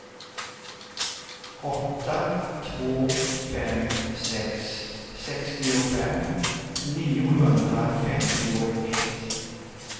åtta två fem sex sextiofem niohundrafemtioett